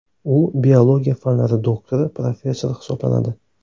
U biologiya fanlari doktori, professor hisoblanadi.